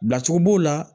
Bilacogo b'o la